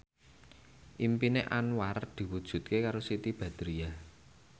impine Anwar diwujudke karo Siti Badriah